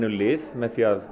lið með því að